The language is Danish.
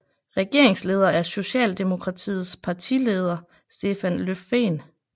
Regeringsleder er Socialdemokratiets partileder Stefan Löfven